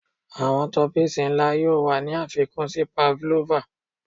Awọn toppings nla yoo wa ni afikun si pavlova